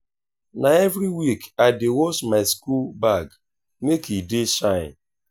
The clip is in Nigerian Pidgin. na every week i dey wash my school bag make e dey shine.